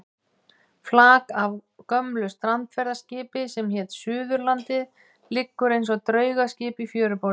Flak af gömlu strandferðaskipi sem hét Suðurlandið liggur eins og draugaskip í fjöruborðinu.